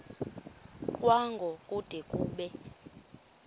kwango kude kube